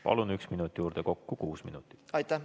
Palun üks minut juurde, kokku kuus minutit.